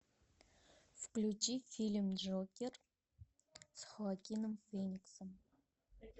включи фильм джокер с хоакином фениксом